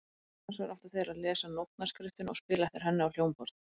Annars vegar áttu þeir að lesa nótnaskriftina og spila eftir henni á hljómborð.